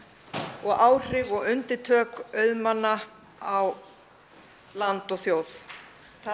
og áhrif og undirtök auðmanna á landi og þjóð það